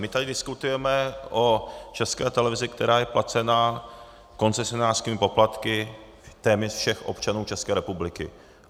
My tady diskutujeme o České televizi, která je placena koncesionářskými poplatky téměř všech občanů České republiky.